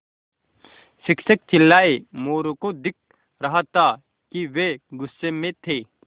शिक्षक चिल्लाये मोरू को दिख रहा था कि वे गुस्से में थे